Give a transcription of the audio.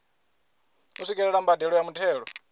u swikelela mbadelo ya muthelo